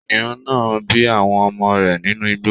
Kìnìún náà bí àwọn ọmọ rẹ nínú igbó.